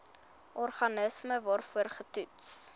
organisme waarvoor getoets